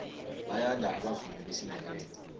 bayanda abavumi besindebele